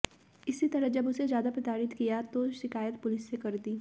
इसी तरह जब उसे ज्यादा प्रताड़ित किया तो शिकायत पुलिस से कर दी